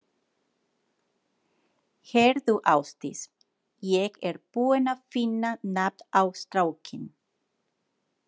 Heyrðu Ásdís, ég er búinn að finna nafn á strákinn.